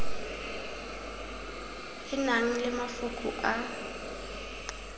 e nang le mafoko a